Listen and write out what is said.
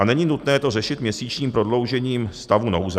A není nutné to řešit měsíčním prodloužením stavu nouze.